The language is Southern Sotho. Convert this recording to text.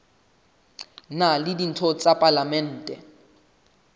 na le ditho tsa palamente